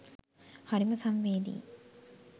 හරිම සංවේදීයි!